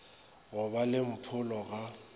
go ba le mpholo ga